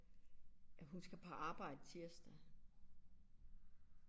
At hun skal på arbejde tirsdag